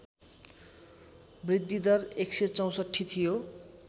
बृद्धिदर १६४ थियो